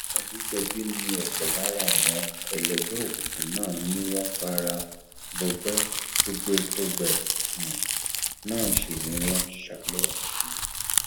àdẹjọbí ni ọpọ lára àwọn ẹlẹgbẹ òkùnkùn náà ni wọn fara gbọgbẹ tọgbẹtọgbẹ um náà sì ni wọn sá lọ um